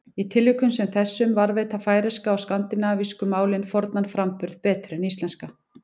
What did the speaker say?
Í tilvikum sem þessum varðveita færeyska og skandinavísku málin fornan framburð betur en íslenska.